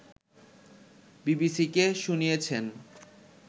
বিবিসিকে শুনিয়েছেন